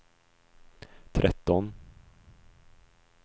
tretton